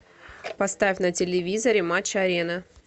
поставь на телевизоре матч арена